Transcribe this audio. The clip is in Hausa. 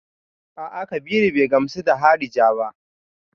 A'a, Kabiru bai gamsu da harija ba.